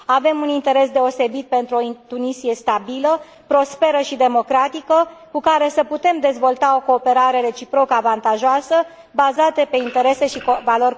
Avem un interes deosebit pentru o Tunisie stabilă, prosperă și democratică, cu care să putem dezvolta o cooperare reciproc avantajoasă, bazată pe interese și valori comune.